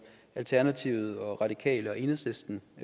alternativet radikale og enhedslisten